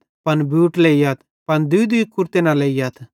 पन बूट लेइयथ पन दूईदूई कुरते न लेइयथ